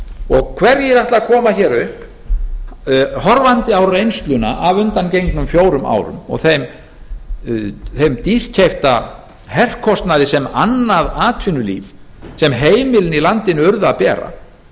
dæmið hverjir ætla að koma hér upp horfandi á reynsluna af undangengnum fjórum árum og þeim dýrkeypta herkostnaði sem annað atvinnulíf sem heimilin í landinu urðu að bera